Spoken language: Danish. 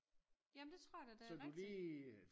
Ja men det tror jeg da det rigtigt